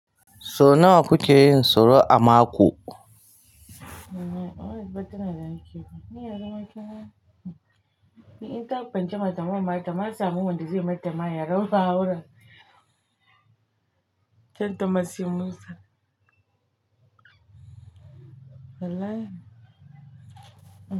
So nawa kuke yin soro a mako?